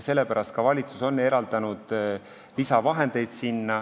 Sellepärast on valitsus eraldanud sinna lisavahendeid.